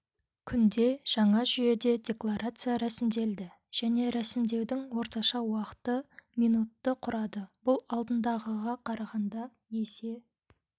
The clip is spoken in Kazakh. күнде жаңа жүйеде декларация рәсімделді және рәсімдеудің орташа уақыты минутты құрады бұл алдындағыға қарағанда есе